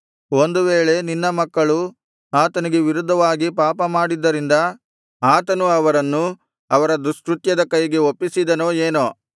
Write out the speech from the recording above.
ಒಂದು ವೇಳೆ ನಿನ್ನ ಮಕ್ಕಳು ಆತನಿಗೆ ವಿರುದ್ಧವಾಗಿ ಪಾಪ ಮಾಡಿದ್ದರಿಂದ ಆತನು ಅವರನ್ನು ಅವರ ದುಷ್ಕೃತ್ಯದ ಕೈಗೆ ಒಪ್ಪಿಸಿದನೋ ಏನೋ